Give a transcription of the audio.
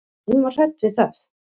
Og hún var hrædd við það.